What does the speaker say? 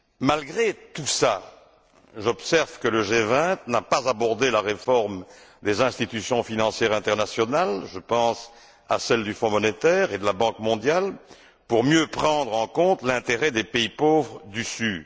Malgré tout cela, j'observe que le G20 n'a pas abordé la réforme des institutions financières internationales je pense à celle du Fonds monétaire et de la Banque mondiale pour mieux prendre en compte l'intérêt des pays pauvres du sud.